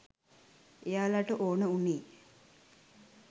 එයාලට ඕන උනේ